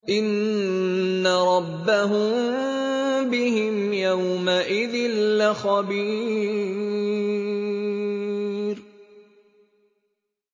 إِنَّ رَبَّهُم بِهِمْ يَوْمَئِذٍ لَّخَبِيرٌ